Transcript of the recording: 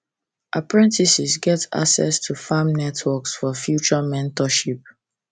apprentices get access to farm networks for future mentorship